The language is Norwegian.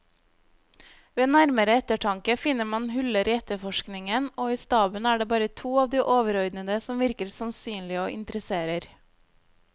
Ved nærmere eftertanke finner man huller i efterforskningen, og i staben er det bare to av de overordnede som virker sannsynlige og interesserer.